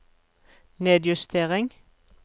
nedjustering